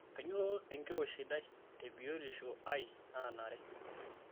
Kainyoo enkiroshi sidai te biotisho ai naanare?